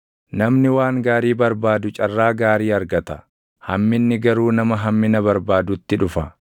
Namni waan gaarii barbaadu carraa gaarii argata; hamminni garuu nama hammina barbaadutti dhufa.